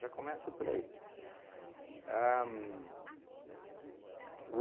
começa por aí. Ahn o